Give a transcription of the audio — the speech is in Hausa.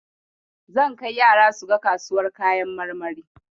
Zan kai yara suga kasuwar kayan marmari.